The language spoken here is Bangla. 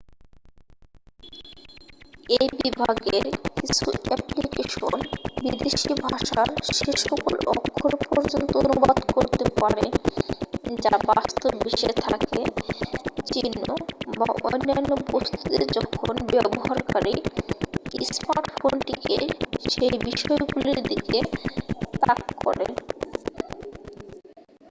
এই বিভাগের কিছু অ্যাপ্লিকেশন বিদেশী ভাষার সেসকল অক্ষর পর্যন্ত অনুবাদ করতে পারে যা বাস্তববিশ্বে থাকে চিহ্ন বা অন্যান্য বস্তুতে যখন ব্যবহারকারী স্মার্টফোনটিকে সেই বিষয়গুলির দিকে তাক করে